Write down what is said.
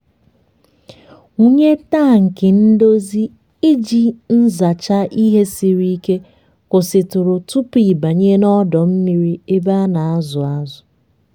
wụnye tankị ndozi iji nzacha ihe siri ike kwụsịtụrụ tupu ị banye n'ọdọ mmiri ebe a na-azụ azụ.